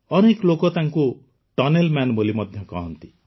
ଅନେକ ଲୋକ ତାଙ୍କୁ ଟନେଲ୍ମ୍ୟାନ ବୋଲି ମଧ୍ୟ କହନ୍ତି